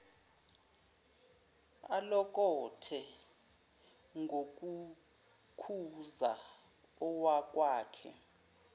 alokothe ngokukhuza owakwakhe